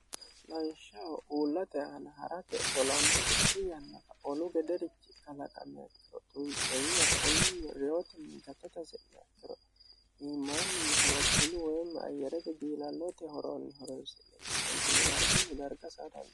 lanshaho uullate aala ha'rate tolannu itti yannafa olu gederichi kalaqanyakiro duntseenyi hakkunninni reyoti nigattata se'me akkiro iimaanninni horophilu weemmi ayyere bidiilalloote horoonni horoisi'meqa meentinni dargunni darga saatanno